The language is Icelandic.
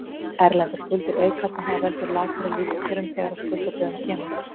Erlendar skuldir aukast en það veldur lakari lífskjörum þegar að skuldadögum kemur.